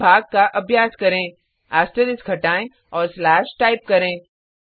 अब भाग का अभ्याय करें एस्टरिस्क हटाएँ और स्लेश टाइप करें